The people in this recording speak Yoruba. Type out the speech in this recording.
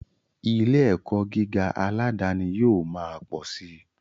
Ilé ẹ̀kọ́ gíga aládani yóò ma pọ̀ si